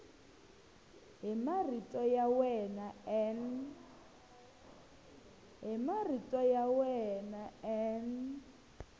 hi marito ya wena n